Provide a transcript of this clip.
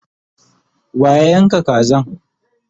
wa ya Yanka Kazan?